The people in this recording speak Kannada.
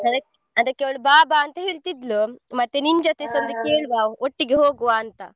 ಅದಕ್ಕೆ ಅವಳು ಬಾ ಬಾ ಅಂತ ಹೇಳ್ತಿದ್ಲು ಮತ್ತೇ ಕೇಳುವ ಒಟ್ಟಿಗೆ ಹೋಗುವ ಅಂತ.